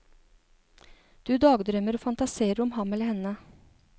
Du dagdrømmer og fantaserer om ham eller henne.